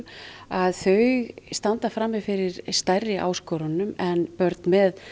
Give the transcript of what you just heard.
að þau standa frammi fyrir stærri áskorunum en börn með